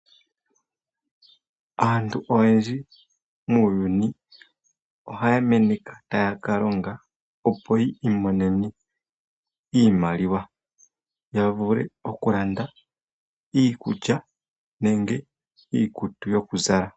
Aantu oyendji muuyuni ohaya meneka taya ka longa, opo yi imonene iimaliwa ya vule okulanda iikulya nenge iikutu yoku zala.